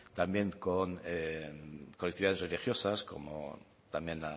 también con colectividades religiosas como también